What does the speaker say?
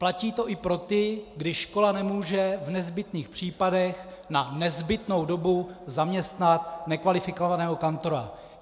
Platí to i pro ty, kdy škola nemůže v nezbytných případech na nezbytnou dobu zaměstnat nekvalifikovaného kantora.